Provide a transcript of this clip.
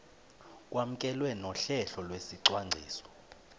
kwamkelwe nohlelo lwesicwangciso